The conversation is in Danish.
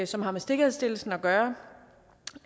som har med sikkerhedsstillelsen at gøre